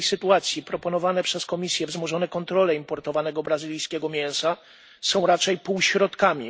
W tej sytuacji proponowane przez Komisję wzmożone kontrole importowanego brazylijskiego mięsa są raczej półśrodkami.